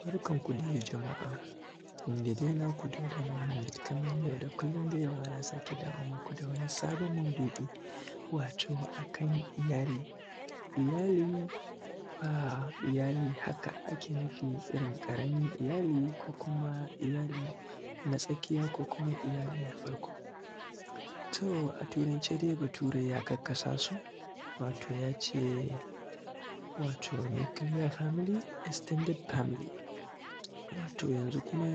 Barkan ku dai jama’a, ni ne dai naku Dauda Muhammad kamar yau da kullum dai yau ma na sake dawo maku dai da wani sabon maudu’I wato a kan iyali. Iyali ba iyali haka ake nufi irin ƙaramin iyaliko kuma iyali na tsakiya ko kuma iyali na farkon. To turance dai bature ya karkasa su, wato ya ce nuclear family, extended family. Wato yanzu kuma